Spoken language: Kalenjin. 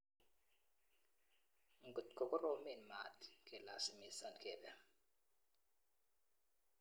Ngot ko koromeen mat kelasimisan kebe.